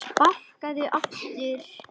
Sparkað aftur.